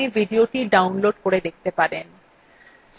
spoken tutorial প্রকল্পর the